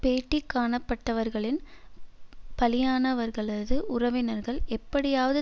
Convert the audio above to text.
பேட்டி காணப்பட்டவர்களின் பலியானவர்களது உறவினர்கள் எப்படியாவது